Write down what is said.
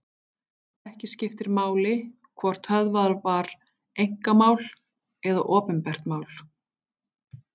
Ekki skiptir máli hvort höfðað var einkamál eða opinbert mál.